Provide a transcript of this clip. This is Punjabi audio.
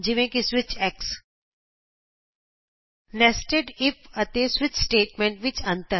ਜਿਵੇਂ ਕਿ ਸਵਿਚ ਅਤੇ ਨੇਸਟੈਡ ਇਫ ਅਤੇ ਸਵਿਚ ਸਟੇਟਮੈਂਟਸ ਵਿਚ ਅੰਤਰ